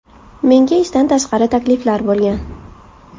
Menga ishdan tashqari takliflar bo‘lgan.